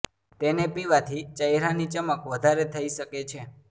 તેને પીવાથી ચહેરા ની ચમક વધારે થઈ શકે છે